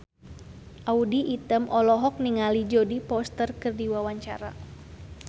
Audy Item olohok ningali Jodie Foster keur diwawancara